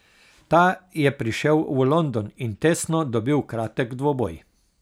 Ta je prišel v London in tesno dobil kratek dvoboj.